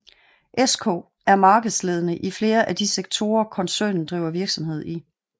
SK er markedsledende i flere af de sektorer koncernen driver virksomhed i